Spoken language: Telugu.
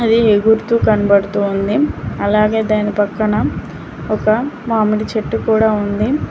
ఇది ఎగురుతూ కనబడుతూ ఉంది అలాగే దాని పక్కన ఒక మామిడి చెట్టు కూడా ఉంది.